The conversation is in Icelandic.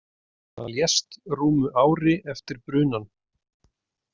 Hann lést rúmu ári eftir brunann.